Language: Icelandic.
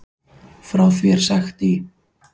Frá því er sagt í